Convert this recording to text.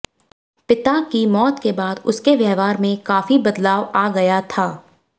पिता की मौत के बाद से उसके व्यवहार में काफी बदलाव आ गया था